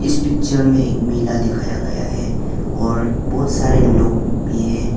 इस पिक्चर में मेला दिखाया गया है और बहोत सारे लोग भी हैं।